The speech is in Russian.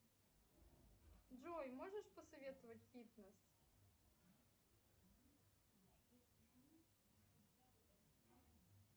джой можешь посоветовать фитнес